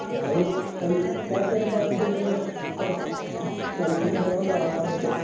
ഞാൻ എല്ലാത്തരം ഭാഷയിലെ ചലച്ചി ചലച്ചിത്രങ്ങളും കാണാറുണ്ട്.